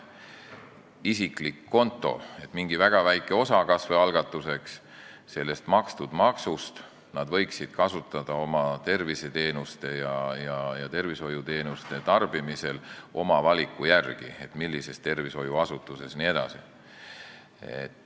Kas või algatuseks mingi väga väikese osa sellest makstud maksust nad võiksid kasutada tervishoiuteenuste tarbimisel oma valiku järgi, et millises tervishoiuasutuses jne.